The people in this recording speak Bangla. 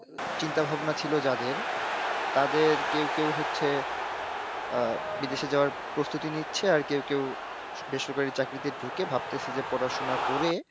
চিন্তা ভাবনা ছিল যাদের, তাদের কেউ কেউ হচ্ছে, আহ, বিদেশে যাওয়ার প্রস্তুতি নিচ্ছে আর কেউ কেউ বেসরকারি চাকরিতে ঢুকে ভাবতেছে যে পড়াশোনা করে,